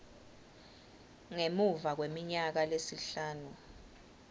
ngemuva kweminyaka lesihlanu